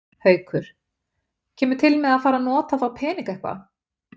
Haukur: Kemur til með að fara að nota þá peninga eitthvað?